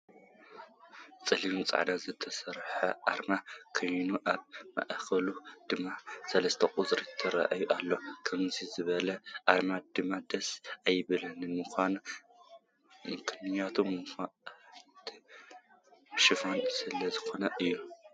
ብፀሊም ፃዕዳን ዝተሰርሐት ኣርማ ኮይና ኣብ ማእከላ ድማ 3 ቁፅሪ ትረኣ ኣላ ።ከምዙይ ዝበለ ኣርማ ድማ ደስ ኣይብለንን ምክንያቱ መልእክቲ ሽፉን ስለዝኮነ እዩ።